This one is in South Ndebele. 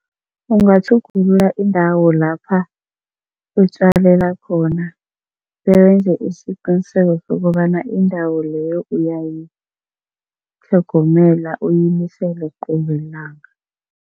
Ungatjhugulula indawo lapha utjalela khona, bewenze isiqiniseko sokobana indawo leyo uyayitlhogomela uyinisele qobe lilanga.